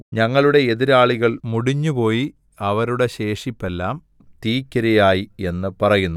ഞങ്ങളുടെ എതിരാളികൾ മുടിഞ്ഞുപോയി അവരുടെ ശേഷിപ്പെല്ലാം തീയ്ക്കിരയായി എന്നു പറയുന്നു